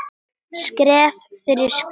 Skref fyrir skrif.